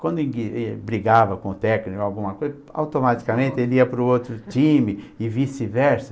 Quando ele ele brigava com o técnico ou alguma coisa, automaticamente ele ia para o outro time e vice-versa.